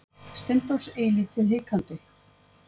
Steindórs eilítið hikandi.